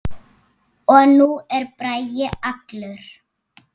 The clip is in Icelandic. Og nú er Bragi allur.